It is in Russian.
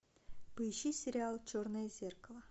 поищи сериал черное зеркало